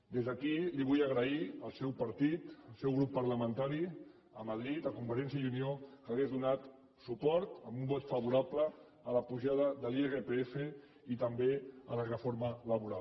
des d’aquí li vull agrair al seu partit al seu grup parlamentari a madrid a convergència i unió que donés suport amb un vot favorable a l’apujada de l’irpf i també a la reforma laboral